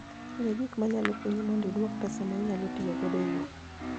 Ng'e Gik Manyalo Konyi Mondo idwuok pesa ma inyalotiyogodo e wuoth